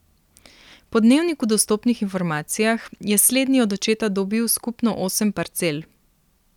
Po Dnevniku dostopnih informacijah je slednji od očeta dobil skupno osem parcel.